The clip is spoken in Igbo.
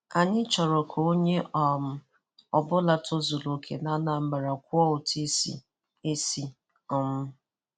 Anyị chọrọ ka onye um ọ bụla tozuru oke na Anambra kwụọ ụtụ isi isi um